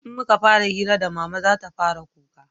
in muka fara hira da mama zata fara kuka